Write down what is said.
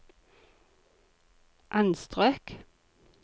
anstrøk